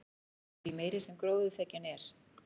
því meiri sem gróðurþekjan er